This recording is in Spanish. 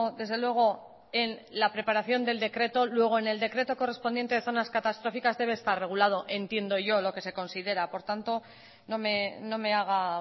desde luego en la preparación del decreto luego en el decreto correspondiente de zonas catastróficas debe estar regulado entiendo yo lo que se considera por tanto no me haga